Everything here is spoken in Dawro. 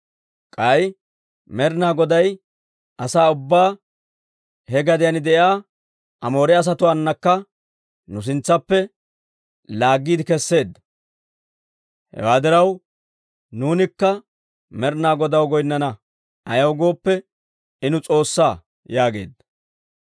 K'ay Med'ina Goday asaa ubbaa, he gadiyaan de'iyaa Amoore asatuwaanakka nu sintsaappe laaggiide keseedda. Hewaa diraw nuunikka Med'ina Godaw goynnana; ayaw gooppe, I nu S'oossaa» yaageedda.